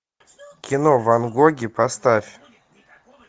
кино ван гоги поставь